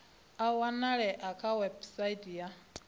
a wanalea kha website ya